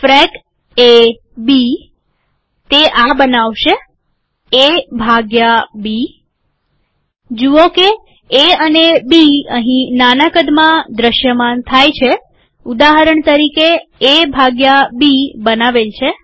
ફ્રેક એ બીતે આ બનાવશેએ ભાગ્ય બી જુઓ કે એ અને બી અહીં નાના કદમાં દ્રશ્યમાન થાય છેઉદાહરણ તરીકેએ ભાગ્યા બી બનાવેલ છે